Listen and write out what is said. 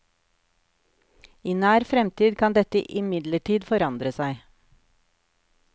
I nær fremtid kan dette imidlertid forandre seg.